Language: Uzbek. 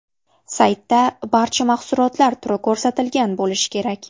Saytda barcha mahsulotlar turi ko‘rsatilgan bo‘lishi kerak.